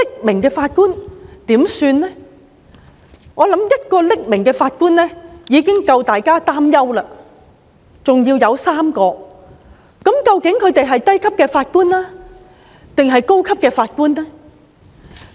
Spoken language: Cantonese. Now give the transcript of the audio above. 我相信1位匿名法官已經令大家擔憂，現在還有3位，究竟他們是低級法官還是高級法官呢？